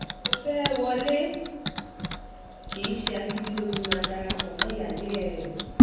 ó fẹ́ẹ́ wọlé kì í ṣe agídí ló fi máa dara pọ̀ mọ́ ìyáálé ẹ̀